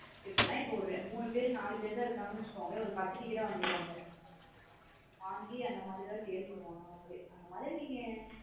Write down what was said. இப்பான ஒரு மூணு பேரு நாலு பேரு தான் இருகங்கனு வச்சுகோங்களே ஒரு பத்து ticket ஆ வங்கிருவாங்க. வாங்கி அந்த மாத்ரி தான் sale பண்ணுவாங்க அவுங்களே. அந்த மாதரி நீங்க.